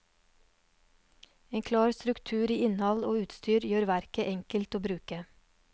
En klar struktur i innhold og utstyr gjør verket enkelt å bruke.